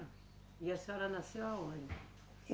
E a senhora nasceu aonde?